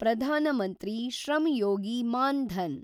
Pradhan Mantri Shram Yogi Maandhan